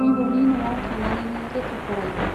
बिबौनि न'आव थानानैनो लेखा फरायो।